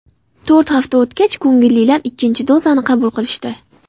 To‘rt hafta o‘tgach, ko‘ngillilar ikkinchi dozani qabul qilishdi.